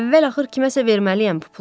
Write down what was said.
Əvvəl-axır kiməsə verməliyəm bu pulu.